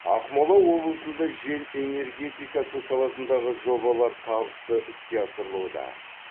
ақмола облысында жел энергетикасы саласындағы жобалар табысты іске асырылуда